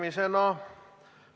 Aitäh!